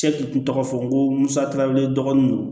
tɔgɔ fɔ n ko musakawlen dɔgɔnunw do